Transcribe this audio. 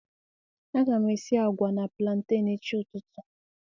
a ga m esi agwa na plantain echi ututu